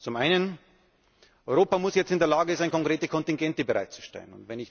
Zum Einen muss Europa jetzt in der Lage sein, konkrete Kontingente bereitzustellen.